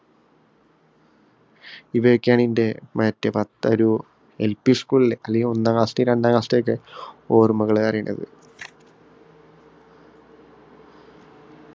ഇവയൊക്കെയാണ് എന്‍റെ മറ്റേ പത്ത ഒരു LP school ഇലെ, അല്ലെങ്കില്‍ ഒന്നാം class ലെയും, രണ്ടാം class ഇലെയൊക്കെ ഓര്‍മ്മകള്‍ ഏറെയുള്ളത്.